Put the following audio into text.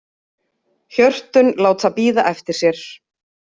Hjörtun láta bíða eftir sér.